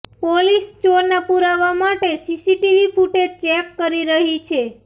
police ચોરના પુરાવા માટે સીસીટીવી ફૂટેજ ચેક કરી રહી છે